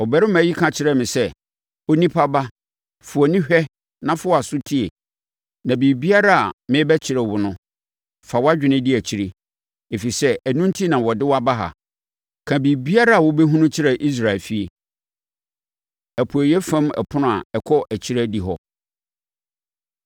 Ɔbarima yi ka kyerɛɛ me sɛ, “Onipa ba, fa wʼani hwɛ na fa wʼaso tie na biribiara a merebɛkyerɛ wo no, fa wʼadwene di akyire, ɛfiri sɛ ɛno enti na wɔde wo aba ha. Ka biribiara a wobɛhunu kyerɛ Israel efie.” Apueeɛ Fam Ɛpono A Ɛkɔ Akyire Adihɔ